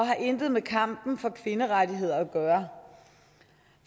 har intet med kampen for kvinderettigheder at gøre